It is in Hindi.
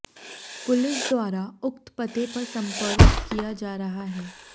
पुलिस द्वारा उक्त पते पर संपर्क किया जा रहा है